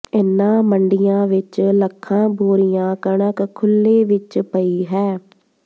ਇਨ੍ਹਾਂ ਮੰਡੀਆਂ ਵਿੱਚ ਲੱਖਾਂ ਬੋਰੀਆਂ ਕਣਕ ਖੁੱਲ੍ਹੇ ਵਿੱਚ ਪਈ ਹੈ